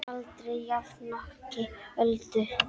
Aldrei jafnoki Öldu.